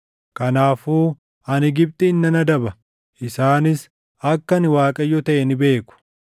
Kanaafuu ani Gibxiin nan adaba; isaanis akka ani Waaqayyo taʼe ni beeku.’ ”